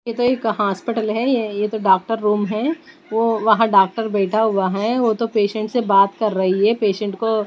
यह तो एक हॉस्पिटल है ये यह तो डॉक्टर रूम है वो वहाँ डॉक्टर बैठा हुआ है वो तो पेशेंट से बात कर रही है पेशेंट को --